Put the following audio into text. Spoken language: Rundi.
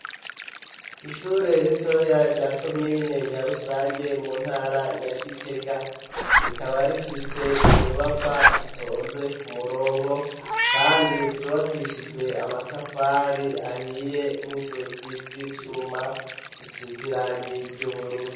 Ishure ritoya rya komine Nyarusange mu ntara ya Gitega rikaba rifise inyubakwa zitonze ku murongo kandi zubakishijwe amatafari ahiye n'inzugi z'ivyuma zisize irangi ry'ubururu.